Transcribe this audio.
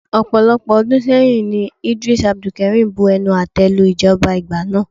Ọ̀pọ̀lọpọ̀ ọdún sẹ́yìn ní Eedris Abdulkareem bu ẹnu àte lu ìjọba ìgbà náà.